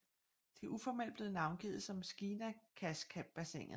Det er uformelt blevet navngivet som Skinakasbassinet